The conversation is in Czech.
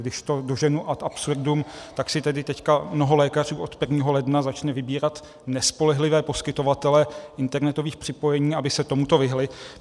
Když to doženu ad absurdum, tak si tady teď mnoho lékařů od 1. ledna začne vybírat nespolehlivé poskytovatele internetových připojení, aby se tomuto vyhnuli.